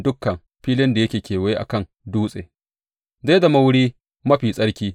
Dukan filin da yake kewaye a kan dutsen, zai zama wuri mafi tsarki.